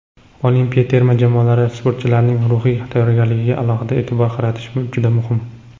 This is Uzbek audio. Olimpiya terma jamoalari sportchilarining ruhiy tayyorgarligiga alohida e’tibor qaratish juda muhim.